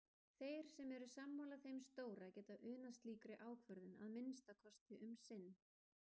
Þeir sem eru sammála þeim stóra geta unað slíkri ákvörðun- að minnsta kosti um sinn.